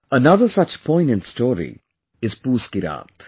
Another such poignant story is 'Poos Ki Raat'